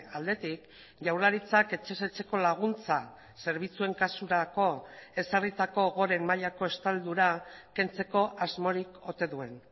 aldetik jaurlaritzak etxez etxeko laguntza zerbitzuen kasurako ezarritako goren mailako estaldura kentzeko asmorik ote duen